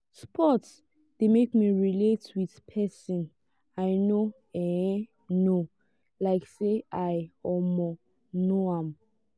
sport de make me relate with persin i no um know like say i um know am